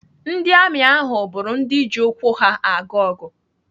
Ndị amị ahụ bụrụ ndị ji ụkwụ ha aga ọgụ.